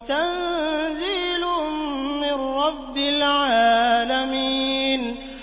تَنزِيلٌ مِّن رَّبِّ الْعَالَمِينَ